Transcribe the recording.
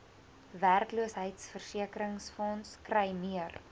werkloosheidsversekeringsfonds kry meer